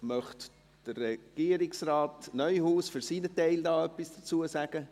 Möchte der Regierungsrat Neuhaus für seinen Teil etwas dazu sagen?